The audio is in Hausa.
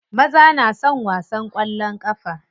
Maza na son wasan kwallon kafa.